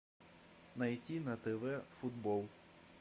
найти на тв футбол